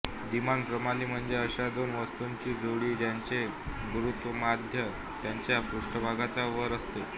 द्विमान प्रणाली म्हणजे अशा दोन वस्तूंची जोडी ज्यांचे गुरुत्वमध्य त्यांच्या पृष्ठभागाच्या वर असते